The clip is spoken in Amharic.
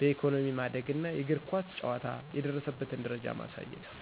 በኢኮኖሚ ማደግና የእግር ኳስ ጨዋታ የደረሰበትን ደረጃ ማሳየት ነው።